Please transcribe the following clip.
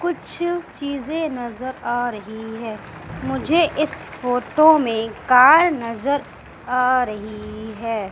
कुछ चीजें नजर आ रही है मुझे इस फोटो में कार नजर आ रही है।